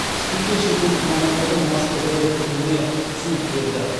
спикер шетелдік мамандардың маска жайлы пікіріне түсінік берді